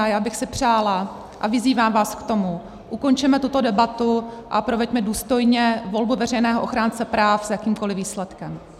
A já bych si přála, a vyzývám vás k tomu, ukončeme tuto debatu a proveďme důstojně volbu veřejného ochránce práv s jakýmkoli výsledkem.